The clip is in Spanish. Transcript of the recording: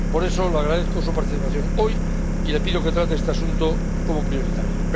Por eso, le agradezco su participación hoy y le pido que trate este asunto como prioritario.